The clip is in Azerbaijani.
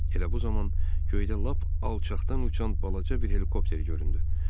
Elə bu zaman göydə lap alçaqdan uçan balaca bir helikopter göründü.